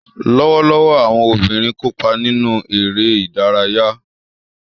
Lọwọlọwọ, awọn obinrin kopa ninu ere idaraya.